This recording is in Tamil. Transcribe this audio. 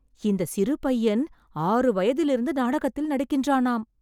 இந்த சிறு பையன் ஆறு வயதில் இருந்து நாடகத்தில் நடிக்கின்றானாம்